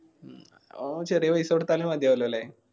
ഉം അതാവമ്പൊ ചെറിയ paisa കൊടുത്താല് മതിയാവുല്ലോ ല്ലേ